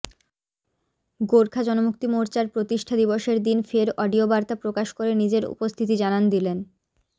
গোর্খা জনমুক্তি মোর্চার প্রতিষ্ঠা দিবসের দিন ফের অডিও বার্তা প্রকাশ করে নিজের উপস্থিতি জানান দিলেন